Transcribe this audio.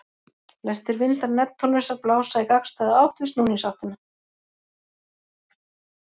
Flestir vindar Neptúnusar blása í gagnstæða átt við snúningsáttina.